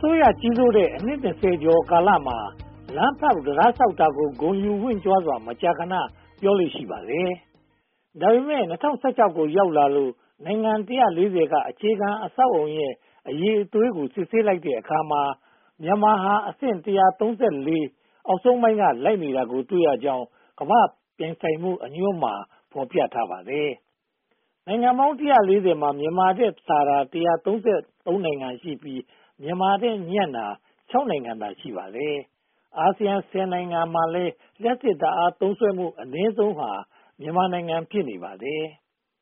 စိုးရကြီးစိုးတဲ့ အနှစ် (၂၀) ကျော်ကာလမှာ လမ်းဖောက်တံတားဆောက်တာကို ဂုဏ်ယူဝင့်ကြွားစွာ မကြာခဏ ပြောလေ့ရှိပါတယ်။ ဒါပေမဲ့ ၂၀၁၆ ကို ရောက်လာလို့ နိုင်ငံ (၁၄၀) က အခြေခံအဆောက်အုံကဏ္ဍရဲ့ အရည်အသွေးကို စစ်ဆေးလိုက်တဲ့အခါမှာ မြန်မာဟာအဆင့် (၁၃၄) အောက်ဆုံးပိုင်းက လိုက်နေတာကို တွေ့ရကြောင်း ကမ္ဘာ့ပြိုင်ဆိုင်မှုအညွှန်းမှာ ဖော်ပြထားပါတယ်။ နိုင်ငံပေါင်း (၁၄၀) မှာ မြန်မာထက်သာတာ (၁၃၃) နိုင်ငံရှိပြီး မြန်မာထက်ညံ့တာ (၆) နိုင်ငံသာ ရှိပါတယ်။ အာဆီယံ (၁၀) နိုင်ငံမှာလည်း လျှပ်စစ်ဓါတ်အားသုံးစွဲမှု အနည်းဆုံးဟာ မြန်မာနိုင်ငံ ဖြစ်နေပါတယ်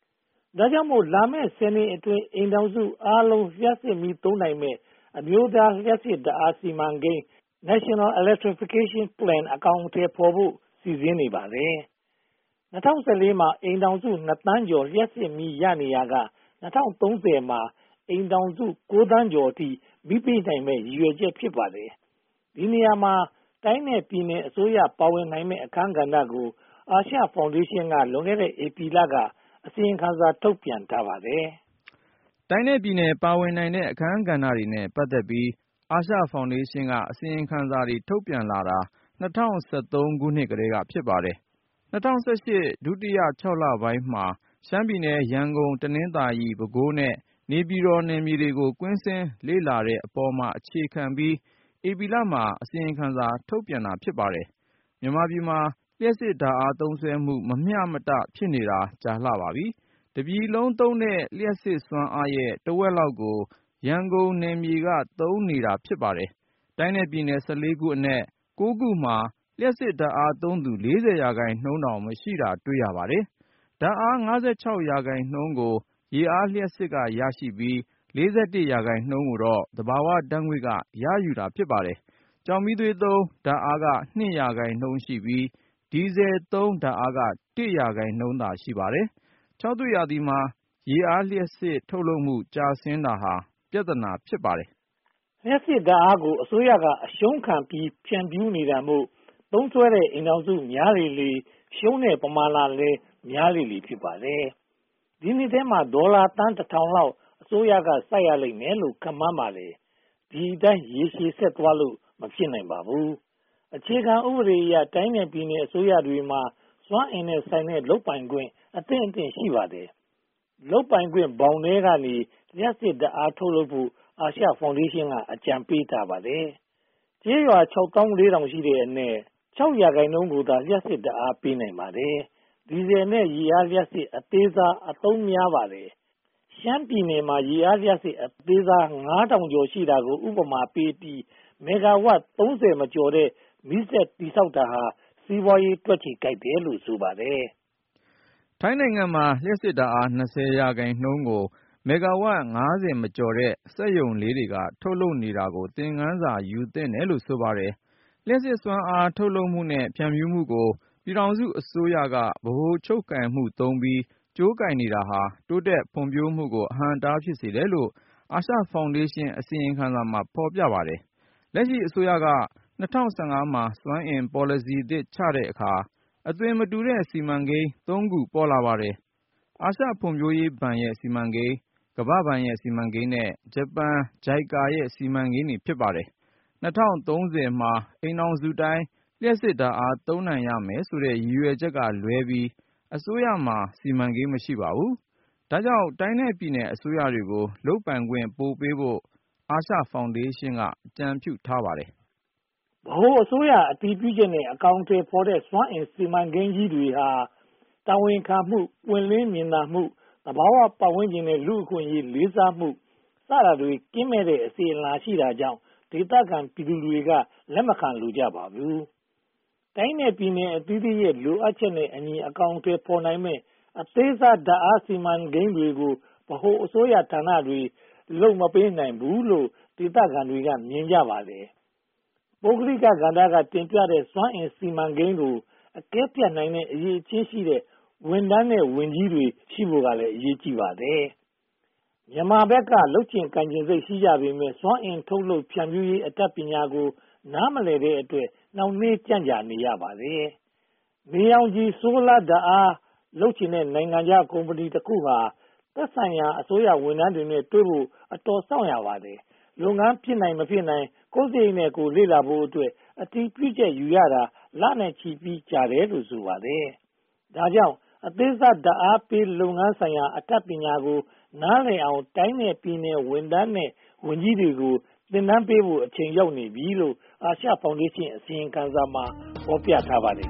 ။ ဒါကြောင့်မို့ လာမယ့် (၁၀) နှစ်အတွင်း အိမ်ထောင်စုအားလုံး လျှပ်စစ်သုံးနိုင်မယ့် အမျိုးသားလျှပ်စစ်ဓါတ်အားစီမံကိန်း (NEP--National Electrification Plan) အကောင်အထည်ဖော်ဖို့ စီစဉ်နေပါတယ်။ ၂၀၁၄ မှာ အိမ်ထောင်စု (၂) သန်းကျော် လျှပ်စစ်မီးရနေရာက ၂၀၃၀ မှာ အိမ်ထောင်စု (၉) သန်းကျော်အထိ မီးပေးနိုင်မယ့် ရည်ရွယ်ချက် ဖြစ်ပါတယ်။ ဒီနေရာမှာ တိုင်းနဲ့ပြည်နယ်အစိုးရ ပါဝင်နိုင်မယ့် အခန်းကဏ္ဍကို အာရှဖောင်ဒေးရှင်း က လွန်ခဲ့တဲ့ ဧပြီလက အစီရင်ခံစာ ထုတ်ပြန်ထားပါတယ်။ တိုင်းနဲ့ပြည်နယ်ပါဝင်နိုင်တဲ့ အခန်းကဏ္ဍတွေနဲ့ ပတ်သက်ပြီး အာရှဖောင်ဒေးရှင်းက အစီရင်ခံစာတွေ ထုတ်ပြန်လာတာ ၂၀၁၃ ခုနှစ်ကတည်းက ဖြစ်ပါတယ်။ ၂၀၁၈ ဒုတိယ (၆) လပိုင်းမှာ ရှမ်းပြည်နယ်၊ ရန်ကုန်၊ တနင်္သာရီ၊ ပဲခူး နဲ့ နေပြည်တော် နယ်မြေတွေကို ကွင်းဆင်းလေ့လာထားတဲ့အပေါ်မှာ အခြေခံပြီးတော့ ဧပြီလမှာ အစီရင်ခံစာ ထုတ်ပြန်ခဲ့တာပါ။ မြန်မာပြည်မှာ လျှပ်စစ်ဓါတ်အား သုံးစွဲမှု မမျှမတ ဖြစ်နေတာ အတော်ကြာပါပြီ။ တပြည်လုံးသုံးတဲ့ လျှပ်စစ်စွမ်းအင်ရဲ့ တဝက်လောက်ကို ရန်ကုန်နယ်မြေက သုံးစွဲပါတယ်။ တိုင်းနဲ့ပြည်နယ် (၁၄) ခုအနက် (၉) ခုမှာ လျှပ်စစ်ဓါတ်အားသုံးစွဲသူ (၄၀) ရာခိုင်နှုန်းတောင် မရှိတာကို တွေ့ရပါတယ်။ ဓါတ်အား (၅၆) ရာခိုင်နှုန်းကို ရေအားလျှပ်စစ်ကရယူပြီး (၄၁) ရာခိုင်နှုန်းကို သဘာဝဓါတ်ငွေ့က ရယူပါတယ်။ ကျောက်မီးသွေးသုံးဓါတ်အားက (၂) ရာခိုင်နှုန်းရှိပြီး ဒီဇယ်သုံးဓါတ်အားက (၁) ရာခိုင်နှုန်းသာ ရှိပါတယ်။ ခြောက်သွေ့ရာသီမှာ ရေအားလျှပ်စစ် ထုတ်လုပ်မှု ကျဆင်းတာဟာ ပြဿနာ ဖြစ်ပါတယ်။ လျှပ်စစ်ဓါတ်အားကို အစိုးရက အရှုံးခံပြီး ဖြန့်ဖြူးနေတာမို့ သုံးစွဲတဲ့ အိမ်ထောင်စုများလေလေ ရှုံးတဲ့ပမာဏကလည်း များလေလေ ဖြစ်ပါတယ်။ ဒီနှစ်ထဲမှာ ဒေါ်လာသန်း (၁၀၀၀) လောက် အစိုးရက စိုက်ရလိမ့်မယ်လို့ ခန့်မှန်းပါတယ်။ ဒီအတိုင်း ရေရှည်ဆက်သွားလို့ မဖြစ်နိုင်ပါဘူး။ အခြေခံဥပဒေအရ တိုင်းနဲ့ပြည်နယ်အစိုးရတွေမှာ စွမ်းအင်နဲ့ဆိုင်တဲ့ လုပ်ပိုင်ခွင့် အသင့်အတင့် ရှိပါတယ်။ လုပ်ပိုင်ခွင့်ဘောင်ထဲကနေ လျှပ်စစ်ဓါတ် ထုတ်လုပ်ဖို့ အာရှဖောင်ဒေးရှင်းက အကြံပေးထားပါတယ်။ ကျေးရွာ (၆၄၀၀၀) ရှိတဲ့အနက် (၆) ရာခိုင်နှုန်းကိုသာ လျှပ်စစ်ဓါတ်အား ပေးနိုင်ပါသေးတယ်။ ဒီဇယ်နဲ့ ရေအားလျှပ်စစ် အသေးစားတွေ အသုံးများလာပါတယ်။ ရှမ်းပြည်နယ်မှာ ရေအားလျှပ်စစ် အသေးစား (၅၀၀၀) ကျော် ရှိတာကို ဥပမာပေးပြီး မီဂါဝပ် (၃၀) မကျော်တဲ့ မီးစက်တည်ဆောက်တာဟာ စီးပွားရေး တွက်ချေကိုက်တယ်လို့ ဆိုပါတယ်။ ထိုင်းနိုင်ငံမှာ လျှပ်စစ်ဓါတ်အား (၂၀) ရာခိုင်နှုန်းကို မီဂါဝပ် (၅၀) မကျော်တဲ့ စက်ရုံလေးတွေက ထုတ်လုပ်နေတာကို သင်ခန်းစာ ယူသင့်တယ်လို့ ဆိုပါတယ်။ လျှပ်စစ်စွမ်းအား ထုတ်လုပ်မှုနဲ့ ဖြန့်ဖြူးမှုကို ပြည်ထောင်စုအစိုးရက ဗဟိုချုပ်ကိုင်မှုသုံးပြီး ကြိုးကိုင်နေတာဟာ တိုးတက်ဖွံ့ဖြိုးမှုကို အဟန့်အတား ဖြစ်စေတယ်လို့ အာရှဖောင်ဒေးရှင်း အစီရင်ခံစာမှာ ဖော်ပြထားပါတယ်။ လက်ရှိအစိုးရက (၂၀၁၅) မှာ စွမ်းအင်ပေါ်လစီအသစ် ချတဲ့အခါမှာ အသွင်မတူတဲ့ စီမံကိန်း (၃) ခု ပေါ်လာပါတယ်။ အာရှဖွံ့ဖြိုးရေးဘဏ်ရဲ့ စီမံကိန်း၊ ကမ္ဘာ့ဘဏ်ရဲ့ စီမံကိန်းနဲ့ ဂျပန်ရဲ့ JICA စီမံကိန်းတွေ ဖြစ်ပါတယ်။ ၂၀၃၀ မှာ အိမ်ထောင်စုတိုင်း လျှပ်စစ်ဓါတ်အား သုံးနိုင်ရမယ်ဆိုတဲ့ ရည်ရွယ်ချက်ကလွှဲပြီး အစိုးရမှာ စီမံကိန်း မရှိပါဘူး။ ဒါကြောင့် တိုင်းနဲ့ပြည်နယ်အစိုးရတွေကို လုပ်ပိုင်ခွင့်ပိုပေးဖို့ အာရှဖောင်ဒေးရှင်း က အကြံပြုထားပါတယ်။ ဗဟိုအစိုးရအတည်ပြုချက်နဲ့ အကောင်အထည်ဖော်တဲ့ စွမ်းအင်စီမံကိန်းကြီးတွေဟာ တာဝန်ခံမှု၊ ပွင့်လင်မြင်သာမှု၊ သဘာဝပတ်ဝန်းကျင်နဲ့ လူ့အခွင့်အရေး လေးစားမှု စတာတွေ ကင်းမဲ့တဲ့ အစဉ်အလာရှိတာကြောင့် ဒေသခံပြည်သူတွေက လက်မခံလိုကြပါဘူး။ တိုင်းနဲ့ပြည်နယ်အသီးသီးရဲ့ လိုအပ်ချက်နဲ့အညီ အကောင်အထည်ဖော်နိုင်မယ့် အသေးစားဓါတ်အားစီမံကိန်းတွေကို ဗဟိုအစိုးရဌာနတွေ လုပ်မပေးနိုင်ဘူးလို့ ဒေသခံတွေက မြင်ကြပါတယ်။ ပုဂ္ဂလိကကဏ္ဍ တင်ပြထားတဲ့ စွမ်းအင်စီမံကိန်းကို အကဲဖြတ်နိုင်တဲ့ အရည်အချင်းရှိတဲ့ ဝန်ထမ်းနဲ့ ဝန်ကြီးတွေ ရှိဖို့ကလည်း အရေးကြီးပါတယ်။ မြန်မာဘက်က လုပ်ချင်ကိုင်ချင်စိတ် ရှိကြပေမယ့် စွမ်းအင်ထုတ်လုပ် ဖြန့်ဖြူးရေး အတတ်ပညာကို နားမလည်တဲ့အတွက် နှောင့်နှေးကြန့်ကြာရပါတယ်။ နေရောင်ခြည်-ဆိုလာ ဓါတ်အားလုပ်ချင်တဲ့ နိုင်ငံခြားကုမ္ပဏီတခုဟာ သက်ဆိုင်ရာအစိုးရဝန်ထမ်းတွေနဲ့ တွေ့နိုင်ဖို့ အတော်စောင့်ရပါတယ်။ လုပ်ငန်းဖြစ်နိုင်၊ မဖြစ်နိုင် ကိုယ့်စရိတ်နဲ့ ကိုယ်လေ့လာဖို့အတွက် အတည်ပြုချက်ယူရတာ လနဲ့ချီပြီး ကြာတတ်တယ်လို့ ဆိုပါတယ်။ ဒါကြောင့် အသေးစားဓါတ်အားပေး လုပ်ငန်းဆိုင်ရာ အတတ်ပညာကို နားလည်အောင် တိုင်းနဲ့ပြည်နယ် ဝန်ထမ်းနဲ့ ဝန်ကြီးတွေကို သင်တန်းပေးဖို့ အချိန်ရောက်နေပြီလို့ အာရှဖောင်ဒေးရှင်းအစီရင်ခံစာမှာ ဖော်ပြထားပါတယ်